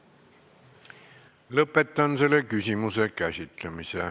Lõpetan selle küsimuse käsitlemise.